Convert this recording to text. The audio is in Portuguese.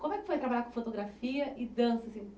Como é que foi trabalhar com fotografia e dança, assim?